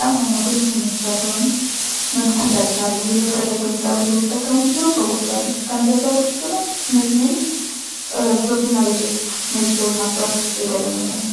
ያም ሁኖ ግን ይህንን ሱሳቸውን መግታት ያልቻሉ የፈለገው ይምጣ ብለው የሚጠቀሙ ብዙ ሰዎች አሉ። ከነዚያ ሰዎች ውስጥ እነዚህን በቡና ቤቶች ውስጥ እነዚህን ሰዎች ማስተናገድ የተለመደ ነው።